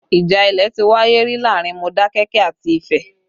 Ìjà ilẹ̀ ti wáyé rí láàrin Modakeke àti Ifẹ